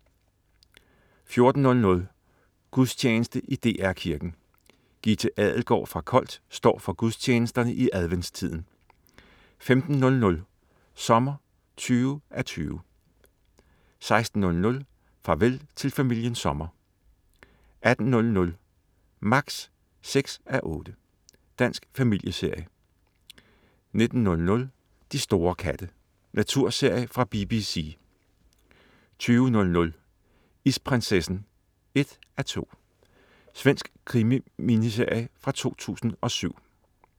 14.00 Gudstjeneste i DR Kirken. Gitte Adelgaard fra Kolt står for gudstjenesterne i adventstiden 15.00 Sommer 20:20* 16.00 Farvel til familien Sommer* 18.00 Max 6:8. Dansk familieserie 19.00 De store katte. Naturserie fra BBC 20.00 Isprinsessen 1:2. Svensk krimi-miniserie fra 2007